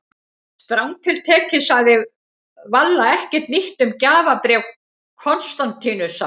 Strangt til tekið sagði Valla ekkert nýtt um gjafabréf Konstantínusar.